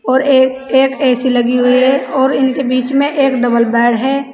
और एक एक ए_सी लगी हुई है और इनके बीच में एक डबल बेड है।